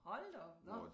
Hold da op nåh